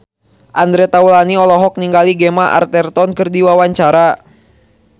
Andre Taulany olohok ningali Gemma Arterton keur diwawancara